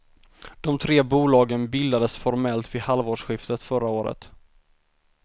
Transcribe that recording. De tre bolagen bildades formellt vid halvårsskiftet förra året.